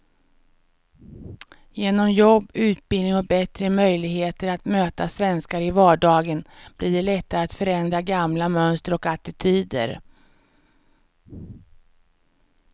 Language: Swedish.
Genom jobb, utbildning och bättre möjligheter att möta svenskar i vardagen blir det lättare att förändra gamla mönster och attityder.